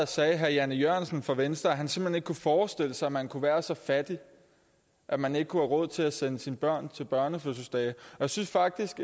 sagde herre jan e jørgensen fra venstre at han simpelt hen ikke kunne forestille sig at man kunne være så fattig at man ikke kunne have råd til at sende sine børn til børnefødselsdage jeg synes faktisk